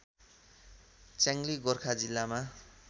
च्याङली गोर्खा जिल्लामा